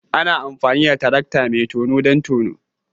Ana amfani da tarakta mai tono don tono